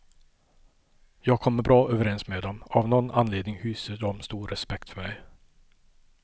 Jag kommer bra överens med dem, av nån anledning hyser de stor respekt för mig.